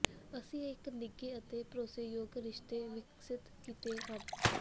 ਅਸੀਂ ਇਕ ਨਿੱਘੇ ਅਤੇ ਭਰੋਸੇਯੋਗ ਰਿਸ਼ਤੇ ਵਿਕਸਿਤ ਕੀਤੇ ਹਨ